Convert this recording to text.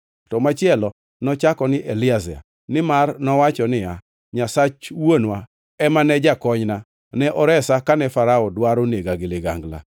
to machielo nochako ni Eliezer nimar nowacho niya, “Nyasach wuonwa ema ne jakonyna, ne oresa kane Farao dwaro nega gi ligangla.”